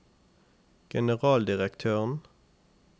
generaldirektøren